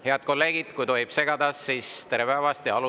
Head kolleegid, kui tohib segada, siis tere päevast!